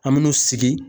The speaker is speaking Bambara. An me n'u sigi